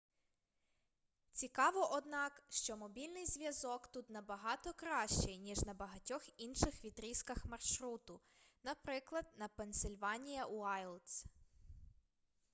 цікаво однак що мобільний зв'язок тут набагато кращий ніж на багатьох інших відрізках маршруту наприклад на пенсильванія уайлдс